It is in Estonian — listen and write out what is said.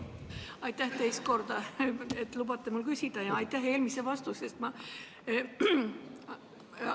Aitäh teist korda, et lubate mul küsida, ja aitäh eelmise vastuse eest!